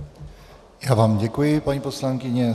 Já vám děkuji, paní poslankyně.